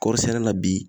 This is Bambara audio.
Kɔɔri sɛnɛ la bi